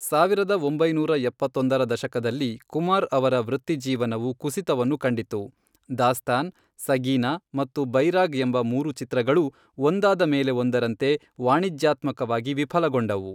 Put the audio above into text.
ಸಾವಿರದ ಒಂಬೈನೂರ ಎಪ್ಪತ್ತೊಂದರ ದಶಕದಲ್ಲಿ ಕುಮಾರ್ ಅವರ ವೃತ್ತಿಜೀವನವು ಕುಸಿತವನ್ನು ಕಂಡಿತು, 'ದಾಸ್ತಾನ್', 'ಸಗೀನಾ' ಮತ್ತು 'ಬೈರಾಗ್' ಎಂಬ ಮೂರು ಚಿತ್ರಗಳೂ ಒಂದಾದ ಮೇಲೆ ಒಂದರಂತೆ ವಾಣಿಜ್ಯಾತ್ಮಕವಾಗಿ ವಿಫಲಗೊಂಡವು.